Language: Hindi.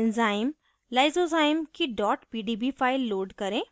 enzyme lysozyme की dot pdb file load करें